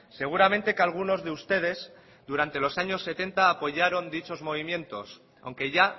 seguramente que algunos de ustedes durante los años setenta apoyaron dichos movimientos aunque ya